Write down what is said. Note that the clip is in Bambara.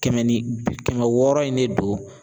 Kɛmɛ ni bi kɛmɛ wɔɔrɔ in ne don